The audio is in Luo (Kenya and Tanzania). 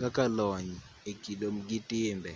kaka lony e kido gi timbe